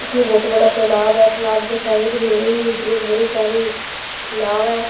यह बहुत बड़ा तालाब है तालाब के साइड में ही एक बड़ी सारी नाव है।